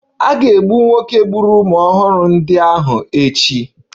A ga-egbu nwoke gburu ụmụ ọhụrụ ndị ahụ echi